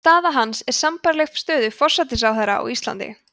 staða hans er sambærileg stöðu forsætisráðherra á íslandi